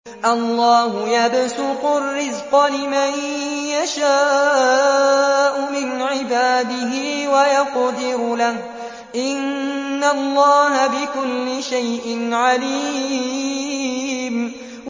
اللَّهُ يَبْسُطُ الرِّزْقَ لِمَن يَشَاءُ مِنْ عِبَادِهِ وَيَقْدِرُ لَهُ ۚ إِنَّ اللَّهَ بِكُلِّ شَيْءٍ عَلِيمٌ